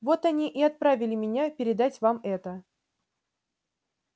вот они и отправили меня передать вам это